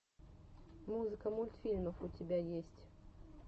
музыка мультфильмов у тебя есть